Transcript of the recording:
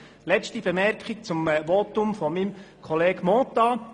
Noch eine letzte Bemerkung zum Votum des Kollegen Mentha.